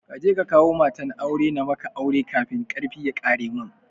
Kaje ka kawo matan aure na maka aure kafin karfi ya ƙare mun